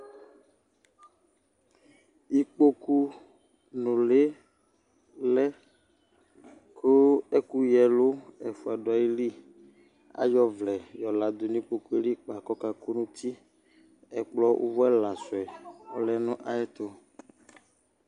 ikpoku nuli lɛ kò ɛkò ya ɛlu ɛfua do ayili k'ayɔ ɔvlɛ yɔ la du n'ikpoku yɛ li kpa k'ɔka kò n'uti ɛkplɔ uvò ɛla su yɛ ɔlɛ n'ayi ɛto